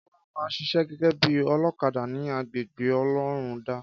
Kọ́lá ma ṣiṣẹ́ gégé bí olókadà ní agbègbè ọlọ́rundá